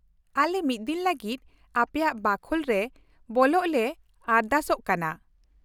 -ᱟᱞᱮ ᱢᱤᱫ ᱫᱤᱱ ᱞᱟᱹᱜᱤᱫ ᱟᱯᱮᱭᱟᱜ ᱵᱟᱠᱷᱳᱞ ᱨᱮ ᱵᱚᱞᱚᱜ ᱞᱮ ᱟᱨᱫᱟᱥᱚᱜ ᱠᱟᱱᱟ ᱾